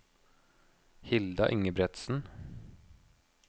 Hilda Ingebretsen